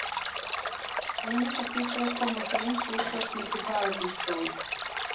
Eineggja tvíburar koma því eins út á slíku faðernisprófi.